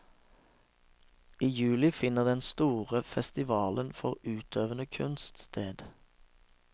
I juli finner den store festivalen for utøvende kunst sted.